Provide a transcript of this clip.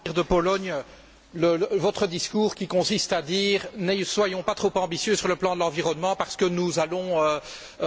Votre discours consiste à dire Ne soyons pas trop ambitieux sur le plan de l'environnement, parce que nous allons mettre à mal notre industrie.